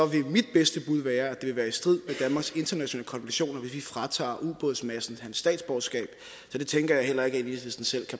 vil mit bedste bud være at det vil være i strid med danmarks internationale konventioner hvis vi fratager uådsmadsen hans statsborgerskab så det tænker jeg heller ikke at enhedslisten selv